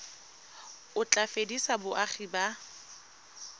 o tla fedisa boagi ba